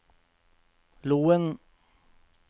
Loen